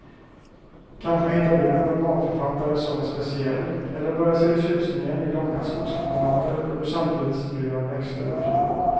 Kanske hittar du en romanförfattare som är speciell, eller börjar se tjusningen i långa skogspromenader då du samtidigt studerar växter och djur.